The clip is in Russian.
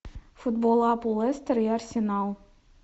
футбол апл лестер и арсенал